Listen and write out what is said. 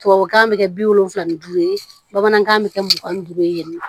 Tubabukan bɛ kɛ bi wolonfila ni duuru ye bamanankan bɛ kɛ mugan ni duuru ye yen nɔ